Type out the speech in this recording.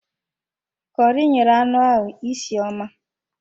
Kọri nyere anụ ahụ isi ọma